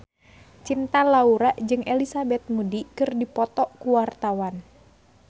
Cinta Laura jeung Elizabeth Moody keur dipoto ku wartawan